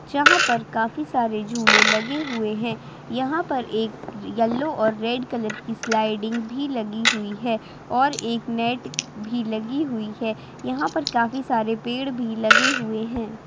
यहाँ पर काफी सारे झूले लगे हुए हैं | यहाँ पर एक येल्लो और रेड कलर की स्लाइडिंग भी लगी हुई है और एक नेट भी लगी हुई है | यहाँ पर काफी सरे पेड़ भी लगे हुए हैं |